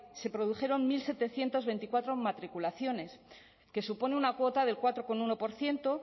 se produjeron mil setecientos veinticuatro matriculaciones que supone una cuota del cuatro coma uno por ciento